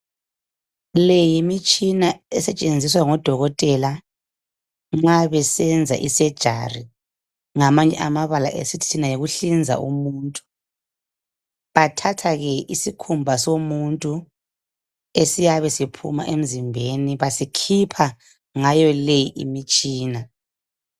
Le yimitshina esetshenziswa ngodokotela nxa besenza i"surgery" ngamanye amabala esithi thina yikuhlinza umuntu. Bathatha ke isikhumba somuntu esiyabe siphuma emzimbeni. Basikhipha ngayo le imitshina.